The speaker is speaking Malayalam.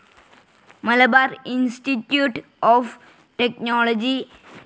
Malabar institute of technology